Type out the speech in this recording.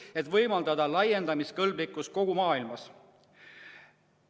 Seda soovitakse laiendada kogu maailmas.